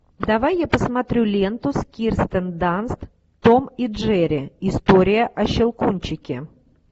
давай я посмотрю ленту с кирстен данст том и джерри история о щелкунчике